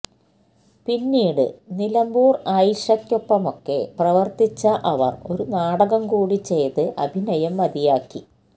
പിന്നീട് നിലമ്പൂര് ആയിഷയ്ക്കൊപ്പമൊക്കെ പ്രവര്ത്തിച്ച അവര് ഒരു നാടകം കൂടി ചെയ്ത് അഭിനയം മതിയാക്കി